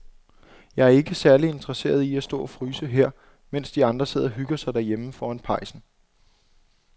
Jeg er ikke særlig interesseret i at stå og fryse her, mens de andre sidder og hygger sig derhjemme foran pejsen.